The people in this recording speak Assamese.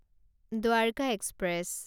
দ্বাৰকা এক্সপ্ৰেছ